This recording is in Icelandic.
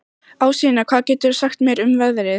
Ásynja, hvað geturðu sagt mér um veðrið?